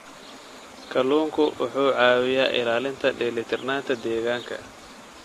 Kalluunku wuxuu caawiyaa ilaalinta dheelitirnaanta deegaanka.